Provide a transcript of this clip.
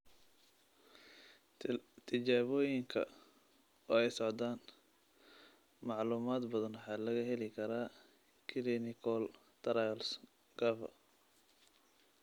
Tijaabooyinku waa socdaan, macluumaad badana waxaa laga heli karaa clinicaltrials.gov.